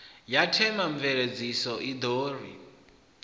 ya themamveledziso i ḓo ri